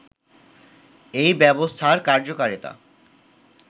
এই ব্যবস্থার কার্যকারিতা